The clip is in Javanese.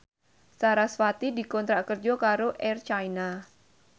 sarasvati dikontrak kerja karo Air China